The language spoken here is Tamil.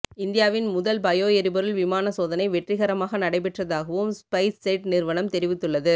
இந்தியாவின் முதல் பயோ எரிபொருள் விமான சோதனை வெற்றிகரமாக நடைபெற்றதாகவும் ஸ்பைஸ்ஜெட் நிறுவனம் தெரிவித்துள்ளது